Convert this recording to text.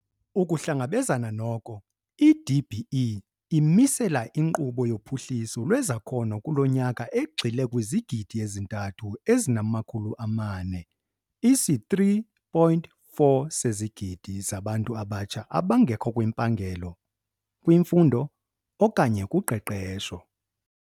Ukuhlangabezana noko, i-DBE imisela inkqubo yophuhliso lwezakhono kulo nyaka egxile kwizigidi ezithathu ezinamakhulu amane isi-3.4 sezigidi zabantu abatsha abangekho kwimpangelo, kwimfundo okanye kuqeqesho.